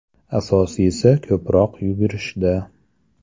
Asosiysi ko‘proq yugurishda.